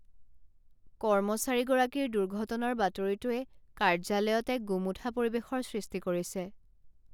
কৰ্মচাৰীগৰাকীৰ দুৰ্ঘটনাৰ বাতৰিটোৱে কাৰ্য্যালয়ত এক গোমোঠা পৰিৱেশৰ সৃষ্টি কৰিছে।